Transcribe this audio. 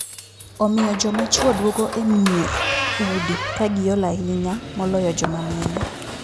Omiyo joma chwo duogo e mier (udi) ka giol ahinya moloyo joma mine.